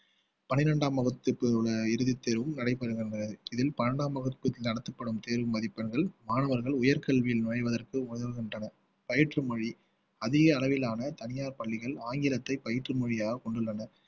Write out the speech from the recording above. பன்னிரண்டாம் வகுப்பு இறுதித் தேர்வும் நடைபெறுகின்றது இதில் பன்னிரண்டாம் வகுப்புக்கு நடத்தப்படும் தேர்வு மதிப்பெண்கள் மாணவர்கள் உயர்கல்வியில் நுழைவதற்கு உதவுகின்றன பயிற்று மொழி அதிக அளவிலான தனியார் பள்ளிகள் ஆங்கிலத்தை பயிற்று மொழியாக கொண்டுள்ளன